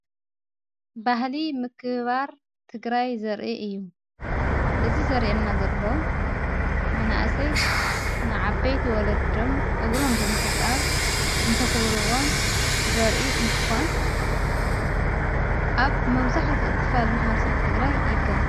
ባሕሊ ምክባር ትግራይ ዘርኢ እዩ እዝ ዘርአ ና ዘሎ መናእሰይ ንዓበይት ወለዶም እግሮም ብምሕጻብ እንተኽብርዎም ዘርኢ እንትኾን ኣብ መውዛሕት ክፋል መሓዋርሰብ ትግራይ ይከየድ።